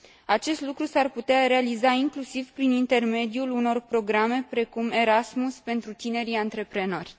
Acest lucru s ar putea realiza inclusiv prin intermediul unor programe precum Erasmus pentru tinerii antreprenori.